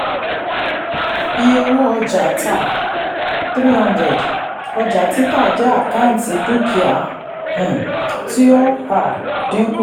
iye owó ọjà tá three hundred ọjà títà jẹ́ àkáǹtì dúkìá um tí ó um dínkù.